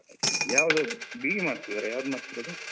ಯಾವುದು BE ಮಾಡ್ತಿದ್ದೀರಾ? ಯಾವ್ದು ಮಾಡ್ತಿರೋದು?